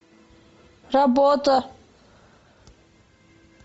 работа